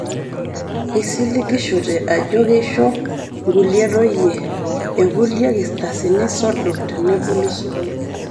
Eisiligishote ajo keisho nkulie toyie e kulie kilasini sodo teneboli sukuul